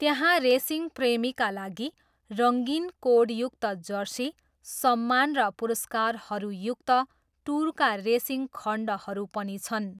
त्यहाँ रेसिङप्रेमीका लागि, रङ्गीन कोडयुक्त जर्सी, सम्मान र पुरस्कारहरूयुक्त टुरका रेसिङ खण्डहरू पनि छन्।